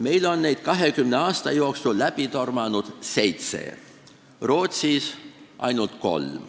Meil on neid 20 aasta jooksul läbi tormanud seitse, Rootsis ainult kolm.